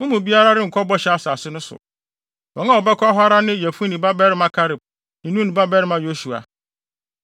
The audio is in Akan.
Mo mu biara renkɔ Bɔhyɛ Asase no so. Wɔn a wɔbɛkɔ hɔ ara ne Yefune babarima Kaleb ne Nun babarima Yosua.